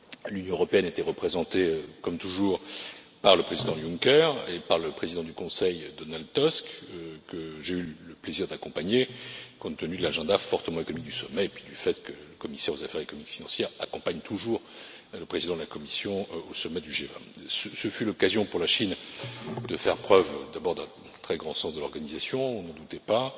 L'Union européenne était représentée comme toujours par le Président Juncker et par le président du Conseil, Donald Tusk, que j'ai eu le plaisir d'accompagner, compte tenu de l'agenda fortement économique du sommet et du fait que le commissaire aux affaires économiques et financières accompagne toujours le président de la Commission au sommet du G20. Ce fut l'occasion pour la Chine de faire preuve, d'abord, d'un très grand sens de l'organisation on n'en doutait pas